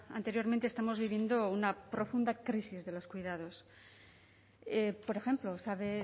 anteriormente estamos viviendo una profunda crisis de los cuidados por ejemplo sabe